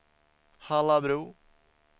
Hallabro